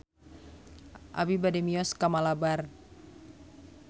Abi bade mios ka Malabar